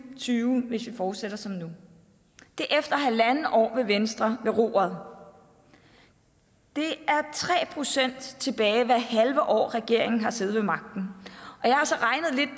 og tyve hvis vi fortsætter som nu det er efter halvandet år med venstre ved roret det er tre procent tilbage hvert halve år regeringen har siddet ved magten